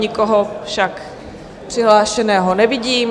Nikoho však přihlášeného nevidím.